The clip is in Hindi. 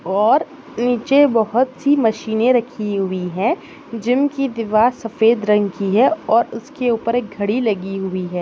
और नीचे बहुत सी मशिने रखी हुई है। जिम की दीवार सफ़ेद रंग की है और उसके उपर एक घड़ी लगी हुई है।